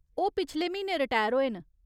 ओह् पिछले म्हीने रटैर होए न।